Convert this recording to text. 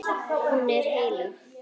Hún er heilög.